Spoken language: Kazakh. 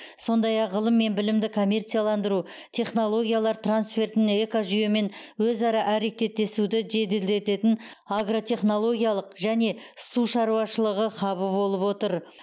сондай ақ ғылым мен білімді коммерцияландыру технологиялар трансфертін экожүйемен өзара әрекеттесуді жеделдететін агротехнологиялық және су шаруашылығы хабы болып отыр